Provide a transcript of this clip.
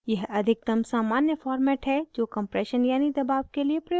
यह अधिकतम सामान्य format है जो compression यानि दबाव के लिए प्रयोग होता है